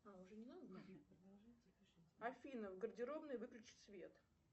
афина в гардеробной выключить свет